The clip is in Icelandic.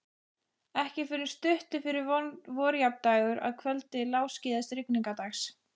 Ekki fyrr en stuttu fyrir vorjafndægur, að kvöldi lágskýjaðs rigningardags.